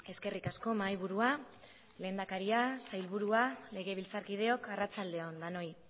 eskerrik asko mahaiburua lehendakaria sailburua legebiltzarkideok arratsalde on denoi